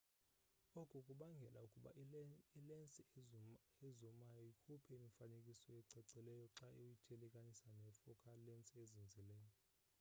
oku kubangele ukuba ilensi ezumayo ikhuphe imifanekiso ecacileyo xa uyithelekanisa ne focal lensi ezinzileyo